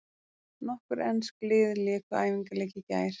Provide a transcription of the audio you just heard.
Nokkur ensk lið léku æfingaleiki í gær.